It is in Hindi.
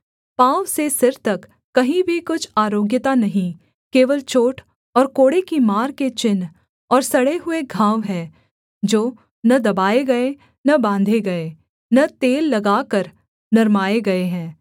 पाँव से सिर तक कहीं भी कुछ आरोग्यता नहीं केवल चोट और कोड़े की मार के चिन्ह और सड़े हुए घाव हैं जो न दबाये गए न बाँधे गए न तेल लगाकर नरमाये गए हैं